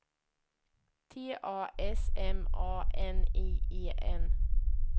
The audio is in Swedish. T A S M A N I E N